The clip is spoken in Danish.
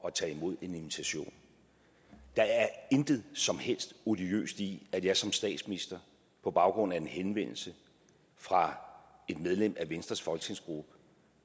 at tage imod en invitation der er intet som helst odiøst i at jeg som statsminister på baggrund af en henvendelse fra et medlem af venstres folketingsgruppe